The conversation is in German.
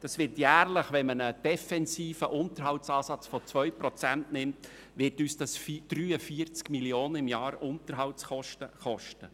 Der Unterhalt wird uns zudem jährlich, wenn man einen defensiven Unterhaltungsansatz von 2 Prozent annimmt, 43 Mio. Franken kosten.